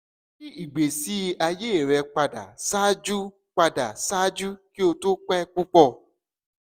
yi igbesi aye rẹ pada ṣaaju pada ṣaaju ki o to pẹ pupọ